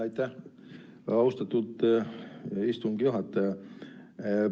Aitäh, austatud istungi juhataja!